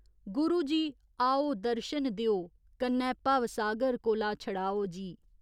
गुरु जी, आओ दर्शन देओ कन्नै भवसागर कोला छड़ाओ जी।